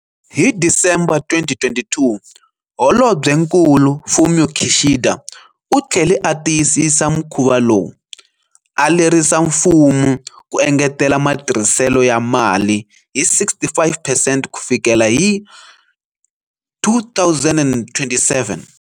Hi December 2022, Holobyenkulu Fumio Kishida u tlhele a tiyisisa mukhuva lowu, a lerisa mfumo ku engetela matirhiselo ya mali hi 65 percent ku fikela hi 2027.